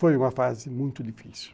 Foi uma fase muito difícil.